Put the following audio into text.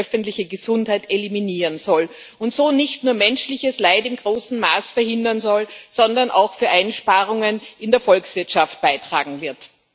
die öffentliche Gesundheit eliminieren soll und so nicht nur menschliches Leid in großem Maß verhindern soll, sondern auch zu Einsparungen in der Volkswirtschaft beitragen wird.